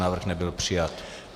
Návrh nebyl přijat.